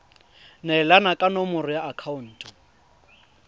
neelana ka nomoro ya akhaonto